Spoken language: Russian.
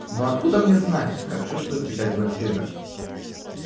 но откуда мне знать как чувствуют печать вампиры